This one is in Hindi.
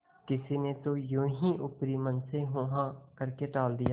किसी ने तो यों ही ऊपरी मन से हूँहाँ करके टाल दिया